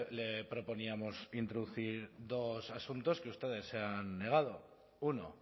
le proponíamos introducir dos asuntos que ustedes se han negado uno